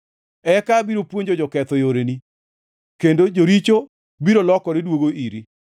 Eka abiro puonjo joketho yoreni kendo joricho biro lokore duogo iri.